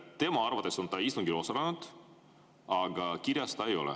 Tema arvates on ta istungil osalenud, aga kirjas teda ei ole.